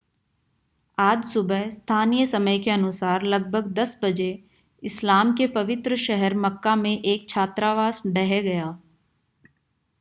आज सुबह स्थानीय समय के अनुसार लगभग 10 बजे इस्लाम के पवित्र शहर मक्का में एक छात्रावास ढह गया